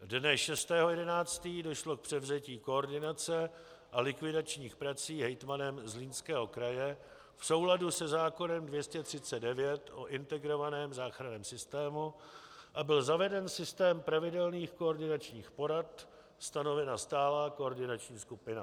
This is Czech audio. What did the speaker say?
Dne 6. 11. došlo k převzetí koordinace a likvidačních prací hejtmanem Zlínského kraje v souladu se zákonem 239 o integrovaném záchranném systému a byl zaveden systém pravidelných koordinačních porad, stanovena stálá koordinační skupina.